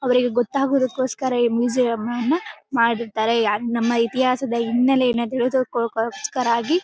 ಅವ್ರಿಗೆ ಗೊತ್ತಾಗುದಕ್ಕೋಸ್ಕರ ಈ ಮ್ಯೂಸಿಯಂ ಅನ್ನು ಮಾಡಿದಾರೆ. ನಮ್ಮ ಇತಿಹಾಸದ ಹಿನ್ನಲೆ ಇರುದುಕ್ಕೋಸ್ಕರ ಆಗಿ--